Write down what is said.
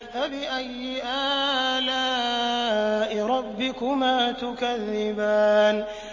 فَبِأَيِّ آلَاءِ رَبِّكُمَا تُكَذِّبَانِ